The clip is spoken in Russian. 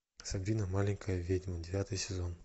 сабрина маленькая ведьмая девятый сезон